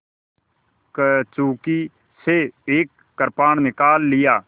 कंचुकी से एक कृपाण निकाल लिया